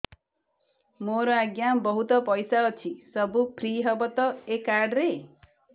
ମୋର ଆଜ୍ଞା ବହୁତ ପଇସା ଅଛି ସବୁ ଫ୍ରି ହବ ତ ଏ କାର୍ଡ ରେ